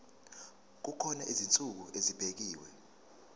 kukhona izinsuku ezibekiwe